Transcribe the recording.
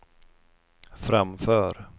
framför